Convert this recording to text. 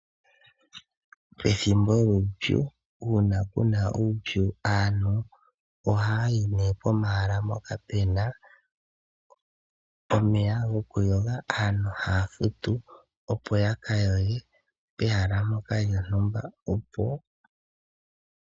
Pethimbo lyuupyu uuna kuna uupyu aantu ohaya yi nee pomahala mpoka puna omeya gokuyoga. Aantu ohaya futu opo ya ka yoge pehala ndyoka lyontumba.